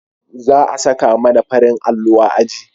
za a saka mana farin allo a aji